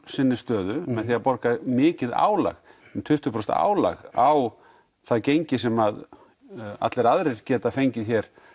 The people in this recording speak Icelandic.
sinni stöðu með því að borga mikið álag um tuttugu prósent álag á það gengi sem allir aðrir geta fengið